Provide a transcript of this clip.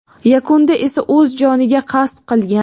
Yakunda esa o‘z joniga qasd qilgan.